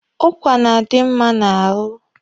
Ụkwa na-adi mma n'ahụ.